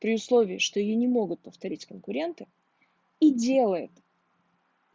при условии что её не могут повторить конкуренты и делает